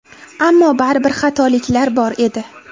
Ammo baribir xatoliklar bor edi.